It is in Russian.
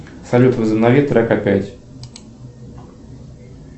салют возобнови трек опять